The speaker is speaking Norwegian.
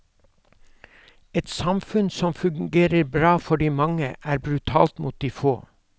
Et samfunn som fungerer bra for de mange, er brutalt mot de få.